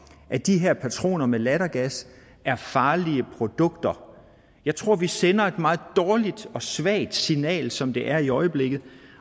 at de her patroner med lattergas er farlige produkter jeg tror vi sender et meget dårligt og svagt signal sådan som det er i øjeblikket